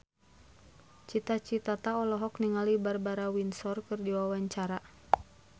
Cita Citata olohok ningali Barbara Windsor keur diwawancara